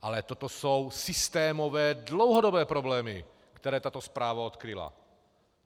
Ale toto jsou systémové, dlouhodobé problémy, které tato zpráva odkryla.